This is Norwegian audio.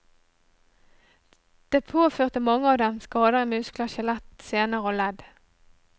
Det påførte mange av dem skader i muskler, skjelett, sener og ledd.